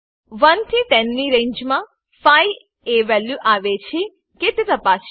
1 થી 10 ની રેંજ મા 5 એ વેલ્યુ આવે છે કે તે તપાસીએ